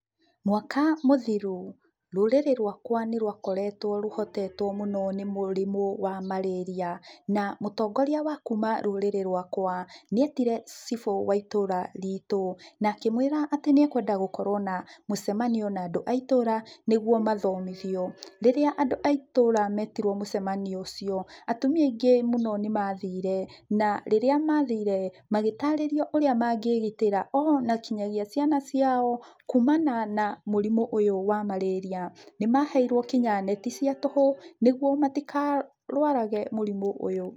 Mwaka mũthĩrũ, rũrĩrĩ rwakwa nĩrũkoretwo rũhotetwo mũno nĩ mũrĩmũ wa marĩria na mũtongoria wa kũma rũrĩrĩ-inĩ rwakwa , nĩ etĩre cĩbũ wa ĩtũra rĩ tũ na akĩmwĩra nĩ ekwenda gũkorwo na mũcemanio na andũ a itũra nĩgũo mathomithio, rĩrĩa andũ a itũra metĩrwo mũcemanio ũcio, atũmia aĩngĩ mũno nĩ mathiire na rĩrĩa mathire magĩtarĩrio ũrĩa mangĩĩgitĩra ona ngĩnyagia ciana cia o kũmana na mũrĩmũ ũyũ wa marĩria nĩ maheirwo ngĩnya neti cia tũhũ nĩgũo matĩkarwarage mũrimũ ũyũ.